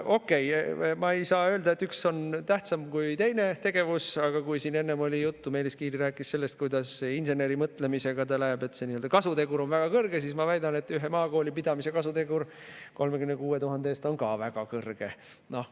Okei, ma ei saa öelda, et üks on tähtsam tegevus kui teine, aga kui siin enne Meelis Kiili rääkis sellest, kuidas ta insenerimõtlemisega näeb, et kasutegur on väga kõrge, siis ma väidan, et ühe maakooli pidamise kasutegur 36 000 eest on ka väga kõrge.